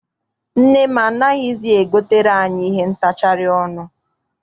Nne m anaghịzi e gotere anyị ihe ntachari ọnụ.